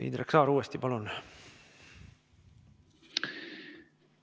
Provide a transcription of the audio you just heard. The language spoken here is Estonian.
Indrek Saar uuesti, palun!